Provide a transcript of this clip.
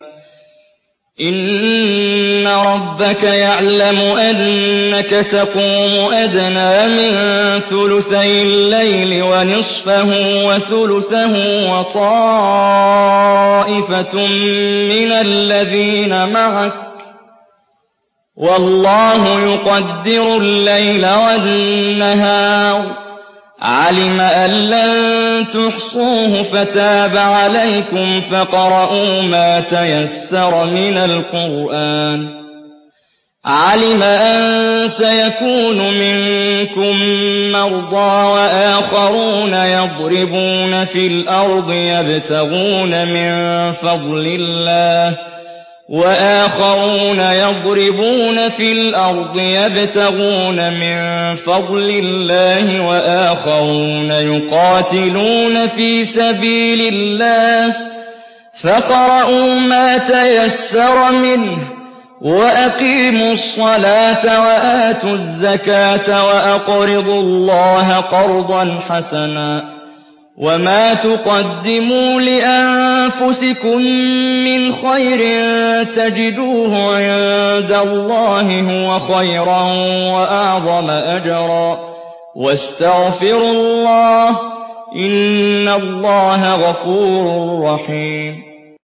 ۞ إِنَّ رَبَّكَ يَعْلَمُ أَنَّكَ تَقُومُ أَدْنَىٰ مِن ثُلُثَيِ اللَّيْلِ وَنِصْفَهُ وَثُلُثَهُ وَطَائِفَةٌ مِّنَ الَّذِينَ مَعَكَ ۚ وَاللَّهُ يُقَدِّرُ اللَّيْلَ وَالنَّهَارَ ۚ عَلِمَ أَن لَّن تُحْصُوهُ فَتَابَ عَلَيْكُمْ ۖ فَاقْرَءُوا مَا تَيَسَّرَ مِنَ الْقُرْآنِ ۚ عَلِمَ أَن سَيَكُونُ مِنكُم مَّرْضَىٰ ۙ وَآخَرُونَ يَضْرِبُونَ فِي الْأَرْضِ يَبْتَغُونَ مِن فَضْلِ اللَّهِ ۙ وَآخَرُونَ يُقَاتِلُونَ فِي سَبِيلِ اللَّهِ ۖ فَاقْرَءُوا مَا تَيَسَّرَ مِنْهُ ۚ وَأَقِيمُوا الصَّلَاةَ وَآتُوا الزَّكَاةَ وَأَقْرِضُوا اللَّهَ قَرْضًا حَسَنًا ۚ وَمَا تُقَدِّمُوا لِأَنفُسِكُم مِّنْ خَيْرٍ تَجِدُوهُ عِندَ اللَّهِ هُوَ خَيْرًا وَأَعْظَمَ أَجْرًا ۚ وَاسْتَغْفِرُوا اللَّهَ ۖ إِنَّ اللَّهَ غَفُورٌ رَّحِيمٌ